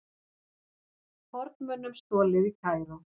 Fornmunum stolið í Kaíró